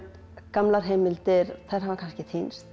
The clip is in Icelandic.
gamlar heimildir þær hafa kannski týnst